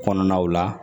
Kɔnɔnaw la